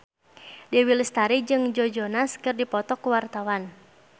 Dewi Lestari jeung Joe Jonas keur dipoto ku wartawan